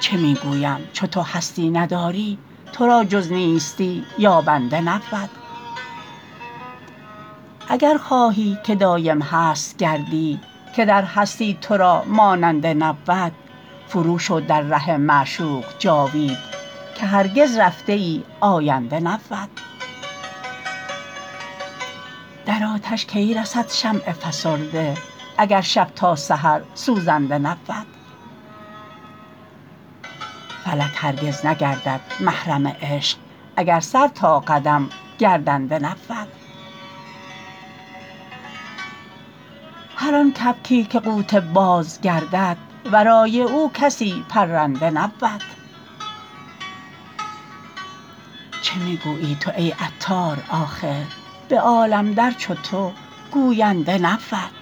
چه می گویم چو تو هستی نداری تورا جز نیستی یابنده نبود اگر خواهی که دایم هست گردی که در هستی تورا ماننده نبود فرو شو در ره معشوق جاوید که هرگز رفته ای آینده نبود در آتش کی رسد شمع فسرده اگر شب تا سحر سوزنده نبود فلک هرگز نگردد محرم عشق اگر سر تا قدم گردنده نبود هر آن کبکی که قوت باز گردد ورای او کسی پرنده نبود چه می گویی تو ای عطار آخر به عالم در چو تو گوینده نبود